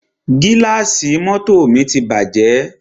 Gílàsì mọ́tọ̀ mi ti bàjẹ́.